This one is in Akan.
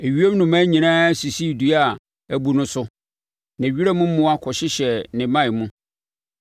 Ewiem nnomaa nyinaa sisii dua a abu no so, na wiram mmoa kɔhyehyɛɛ ne mman mu.